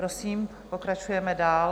Prosím, pokračujeme dál.